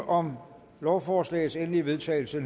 om lovforslagets endelige vedtagelse